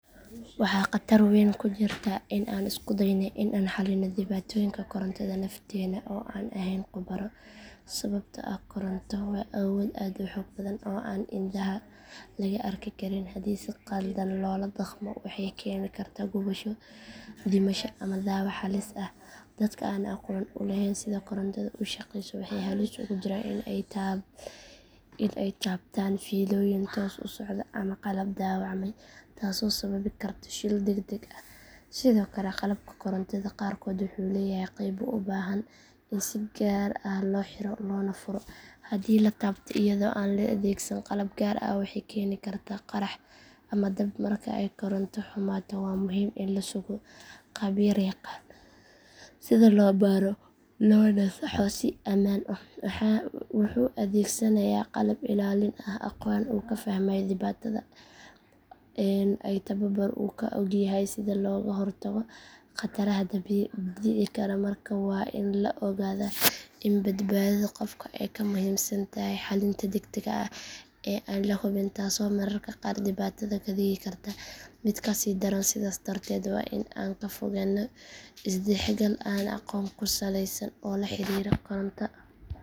Waxaa khatar weyn ku jirta in aan isku dayno in aan xalino dhibaatooyinka korantada nafteena oo aanan ahayn khubaro sababtoo ah koronto waa awood aad u xoog badan oo aan indhaha laga arki karin hadii si khaldan loola dhaqmo waxay keeni kartaa gubasho dhimasho ama dhaawac halis ah dadka aan aqoon u lahayn sida korontadu u shaqeyso waxay halis ugu jiraan in ay taabtaan fiilooyin toos u socda ama qalab dhaawacmay taasoo sababi karta shil deg deg ah sidoo kale qalabka korontada qaarkood wuxuu leeyahay qaybo u baahan in si gaar ah loo xiro loona furo haddii la taabto iyadoo aan la adeegsan qalab gaar ah waxay keeni kartaa qarax ama dab marka ay koronto xumaato waa muhiim in la sugo khabiir yaqaan sida loo baaro loona saxo si ammaan ah wuxuu adeegsanayaa qalab ilaalin ah aqoon uu ku fahmayo dhibaatada iyo tababar uu ku ogyahay sida looga hortago khataraha dhici kara markaa waa in la ogaadaa in badbaadada qofka ay ka muhiimsan tahay xalinta degdega ah ee aan la hubin taasoo mararka qaar dhibaatada ka dhigi karta mid kasii daran sidaas darteed waa in aan ka fogaano is dhexgal aan aqoon ku salaysnayn oo la xiriira koronto